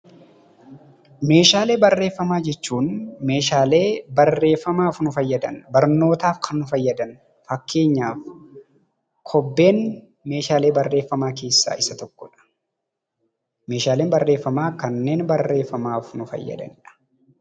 Meeshaalee barreeffamaa jechuun meeshaalee barreeffamaaf nu fayyadan, barnootaaf kan nu fayyadan fakkeenyaaf kobbeen meeshaalee barreeffamaa keessaa isa tokkodha. Meeshaaleen barreeffamaa kanneen barreeffamaaf nu fayyadanidha.